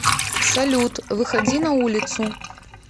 салют выходи на улицу